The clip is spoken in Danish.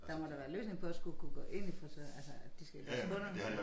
Der må da være løsning på at skulle kunne gå ind i frisør altså at de skal tage kunderne